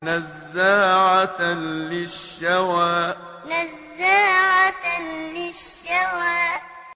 نَزَّاعَةً لِّلشَّوَىٰ نَزَّاعَةً لِّلشَّوَىٰ